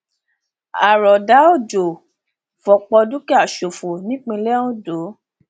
àròdà òjò fọpọ dúkìá ṣòfò nípínlẹ ondo